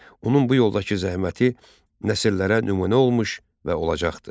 Onun bu yoldakı zəhməti nəsillərə nümunə olmuş və olacaqdır.